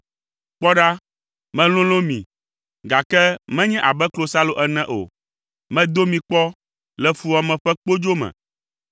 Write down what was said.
Kpɔ ɖa, melolõ mi, gake menye abe klosalo ene o. Medo mi kpɔ le fuwɔame ƒe kpodzo me.